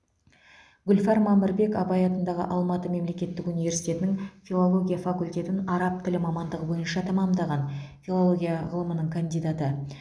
гүлфар мамырбек абай атындағы алматы мемлекеттік университетінің филология факультетін араб тілі мамандығы бойынша тәмамдаған филология ғылымының кандидаты